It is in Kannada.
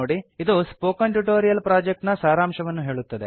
ಇದು ಸ್ಪೋಕನ್ ಟ್ಯುಟೋರಿಯಲ್ ಪ್ರೋಜೆಕ್ಟ್ ನ ಸಾರಾಂಶವನ್ನು ಹೇಳುತ್ತದೆ